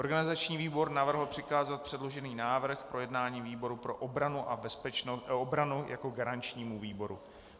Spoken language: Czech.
Organizační výbor navrhl přikázat předložený návrh k projednání výboru pro obranu a bezpečnost - obranu jako garančnímu výboru.